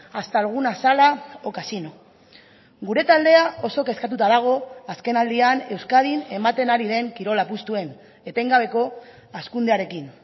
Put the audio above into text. hasta alguna sala o casino gure taldea oso kezkatuta dago azkenaldian euskadin ematen ari den kirola apustuen etengabeko hazkundearekin